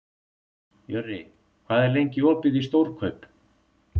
Jörri, hvað er lengi opið í Stórkaup?